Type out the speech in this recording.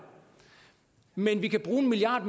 men vi kan bruge en milliard